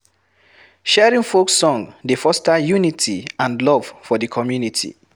Sharing folk song dey foster unity and love for di community